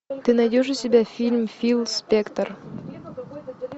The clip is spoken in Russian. ты найдешь у себя фильм фил спектор